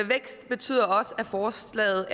vækst betyder også at forslaget